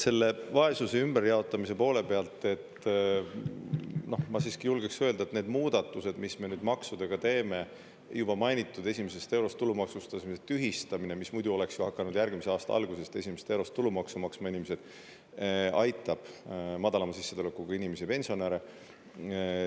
Selle vaesuse ümberjaotamise poole pealt ma siiski julgeks öelda, et need muudatused, mis me nüüd maksudega teeme – juba mainitud esimesest eurost tulumaksustamise tühistamine, mis muidu oleks ju hakanud järgmise aasta algusest esimesest eurost tulumaksu maksma inimesed, aitab madalama sissetulekuga inimesi ja pensionäre.